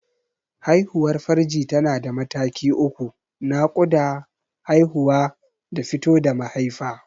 Haihuwar farji tana da mataki uku: Naƙuda, Haihuwa da fito da mahaifa.